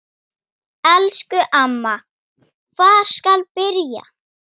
Elsku amma, hvar skal byrja?